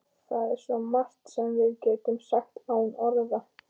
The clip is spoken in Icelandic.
Það er svo margt sem við getum sagt án orða.